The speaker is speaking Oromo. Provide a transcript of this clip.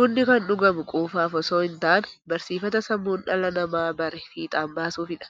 Bunni kan dhugamu quufaaf osoo hin taane, barsiifata sammuun dhala namaa bare fiixaan baasuufidha.